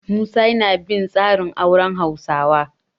Musa yana bin tsarin auren Hausawa.